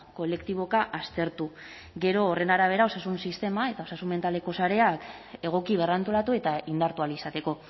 kolektiboka aztertu gero horren arabera osasun sistema eta osasun mentaleko sareak egoki berrantolatu eta indartu ahal izateko